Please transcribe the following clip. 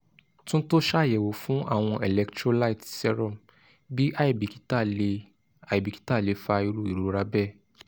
tunto ṣayẹwo fun àwọn electrolytes serum bíi aibikita le aibikita le fa iru irora bẹẹ